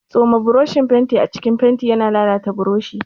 Tsoma boroshin fenti a cikin fenti yana lalata boroshi.